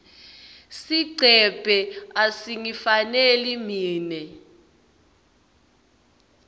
sigcebhe asingifaneli mine